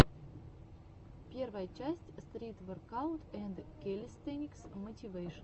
первая часть стрит воркаут энд кэлистэникс мотивэйшн